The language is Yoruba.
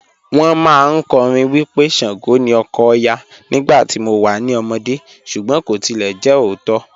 Wọn màáń kọ́rìn wí pé Ṣàngó ni ọkọ̀ Ọya nígbà tí mò wà ní ọmọdé̀ súgbọn kò tilẹ̀ jẹ ọ̀ótó.